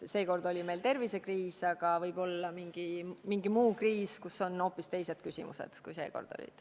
Seekord oli meil tervisekriis, aga võib olla mingi muu kriis, kus on hoopis teised küsimused, kui seekord olid.